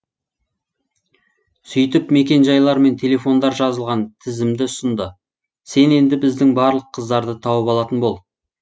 сөйтіп мекенжайлар мен телефондар жазылған тізімді ұсынды сен енді біздің барлық қыздарды тауып алатын бол